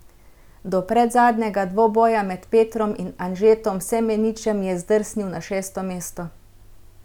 Do predzadnjega dvoboja med Petrom in Anžetom Semeničem je zdrsnil na šesto mesto.